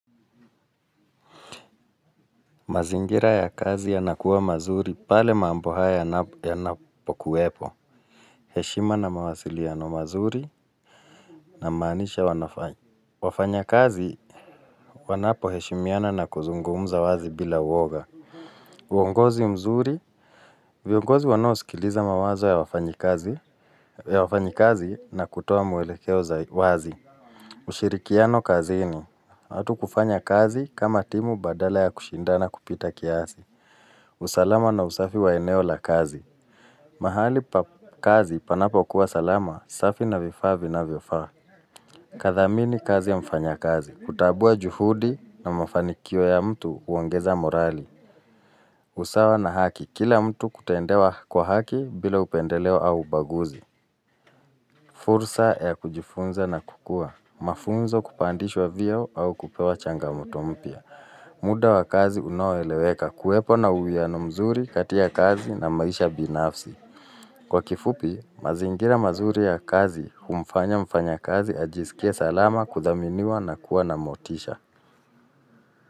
Mazingira ya kazi yanakuwa mazuri pale mambo yanapokuwepo. Heshima na mawasiliano mazuri na maisha wanafany. Wafanyakazi wanapoheshimiana na kuzungumza wazi bila uoga. Uongozi mzuri, viongozi wanosikiliza mawazo ya wafanyikazi na kutoa mwelekeo za wazi. Ushirikiano kazini, hatukufanya kazi kama timu badala ya kushindana kupita kiasi. Usalama na usafi wa eneo la kazi mahali pa kazi panapo kuwa salama, usafi na vifaa vinavyofaa Kathamini kazi ya mfanyakazi kutambua juhudi na mafanikio ya mtu huongeza morali usawa na haki, kila mtu kutendewa kwa haki bila upendeleo au ubaguzi fursa ya kujifunza na kukua Mafunzo kupandishwa vyeo au kupewa changamoto mpya muda wa kazi unaoeleweka kuwepo na uwiano mzuri kati ya kazi na maisha binafsi Kwa kifupi mazingira mazuri ya kazi humfanya mfanya kazi ajisikie salama kudhaminiwa na kuwa na motisha.